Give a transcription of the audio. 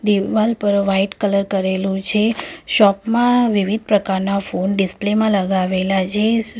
દિવાલ પર white colour કરેલો છે. શોપ માં વિવિધ પ્રકારના ફોન ડિસ્પ્લે માં લગાવેલા છે.